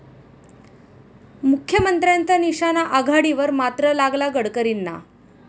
मुख्यमंत्र्यांचा निशाणा आघाडीवर मात्र, लागला गडकरींना?